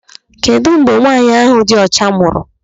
Kedụ mgbe nwaanyị ahụ dị ọcha mụrụ?